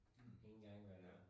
Hm ja